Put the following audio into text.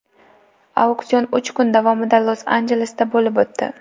Auksion uch kun davomida Los-Anjelesda bo‘lib o‘tdi.